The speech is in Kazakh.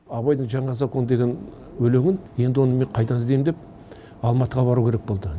абайдың жаңа закон деген өлеңін енді оны мен қайдан іздеймін деп алматыға бару керек болды